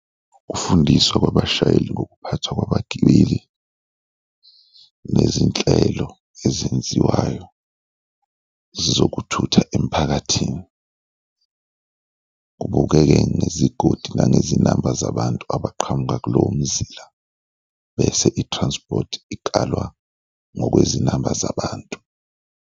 Kufundiswa kwabashayeli ngokuphathwa kwabagibeli nezinhlelo ezenziwayo zokuthutha emphakathini, kubukeke ngezigodi nangezinamba zabantu abaqhamuka kulowo mzila bese i-transport ikalwa ngokwezinamba zabantu.